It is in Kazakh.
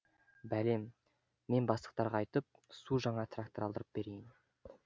бәлем мен бастықтарға айтып су жаңа трактор алдырып берейін